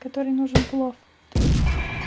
который нужен плов твой